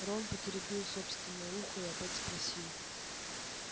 рон потеребил собственное ухо и опять спросил